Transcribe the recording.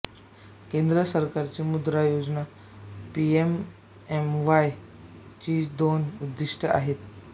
केंद्र सरकारची मुद्रा योजना पीएमएमवाय ची दोन उद्दिष्टे आहेत